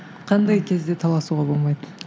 қандай кезде таласуға болмайды